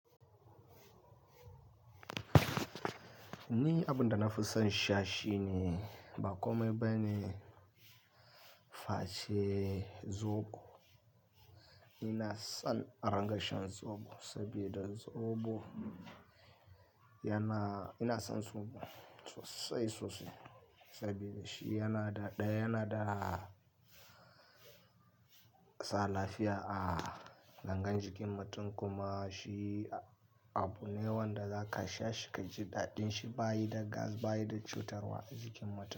Ni abin da na fi son sha shine ba ƙomai bane face zobo. Ina son aranga shan zobo sabida zobo yana, ina son zobo sosai sosai saboda shi yana da, ɗaya yana da sa lafiya a gangin jikin mutum kuma shi abu ne wanda za ka sha shi ka ji daɗin shi ba yi da gas, ba yi da cutarwa a jikin mutum.